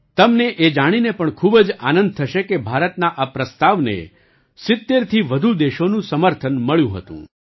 તમને એ જાણીને પણ ખૂબ જ આનંદ થશે કે ભારતના આ પ્રસ્તાવને ૭૦થી વધુ દેશોનું સમર્થન મળ્યું હતું